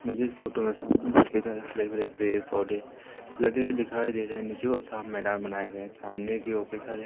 मुझे इस फोटो सामने हरे भरे पेड पौधे लगे दिखाई दे रहे हैं नीचे मैदान बनाया गया है सामने बाकी सारे--